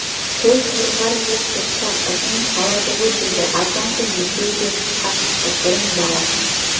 сол құрғыр жел соқса ызың салады ғой деді аздан соң екеуі де тысқа шықты бұрын баласы